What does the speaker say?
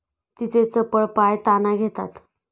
तिचे चपळ पाय ताना घेतात.